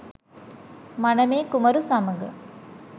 මනමේ කුමරු සමඟ